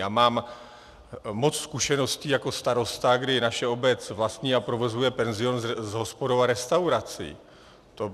Já mám moc zkušeností jako starosta, kdy naše obec vlastní a provozuje penzion s hospodou a restaurací.